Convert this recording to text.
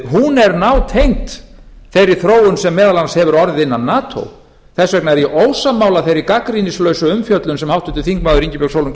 hún er nátengd þeirri þróun sem m a hefur orðið innan nato þess vegna er ég ósammála þeirri gagnrýnislausu umfjöllun sem háttvirtur þingmaður ingibjörg sólrún